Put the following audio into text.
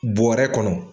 Bɔrɛ kɔnɔ